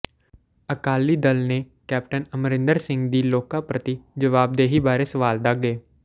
ਅਕਾਲੀ ਦਲ ਨੇ ਕੈਪਟਨ ਅਮਰਿੰਦਰ ਸਿੰਘ ਦੀ ਲੋਕਾਂ ਪ੍ਰਤੀ ਜਵਾਬਦੇਹੀ ਬਾਰੇ ਸਵਾਲ ਦਾਗ਼ੇ